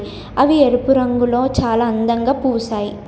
అవి ఎరుపు రంగులో చాలా అందంగా పూసాయి.